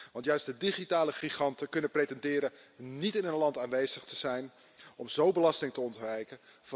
Want juist de digitale giganten kunnen pretenderen niet in een land aanwezig te zijn om zo belasting te ontwijken.